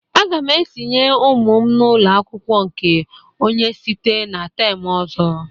Aga m etinye ụmụ m n'ụlọ akwụkwọ nke onye site na tem ọzọ.